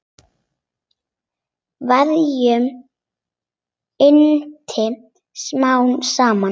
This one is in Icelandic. Verkjum linnti smám saman.